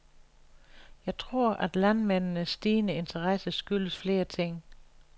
Jeg tror, at landmændendes stigende interesse skyldes flere ting.